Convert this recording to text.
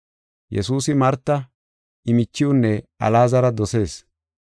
Yesuusi Marta, I michiwunne Alaazara dosees.